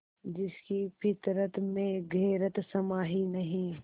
जिसकी फितरत में गैरत समाई नहीं